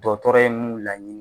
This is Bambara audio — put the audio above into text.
Dɔtɔrɔ ye mun laɲini.